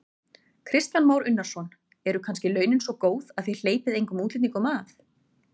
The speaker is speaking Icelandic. Kristján Már Unnarsson: Eru kannski launin svona góð að þið hleypið engum útlendingum að?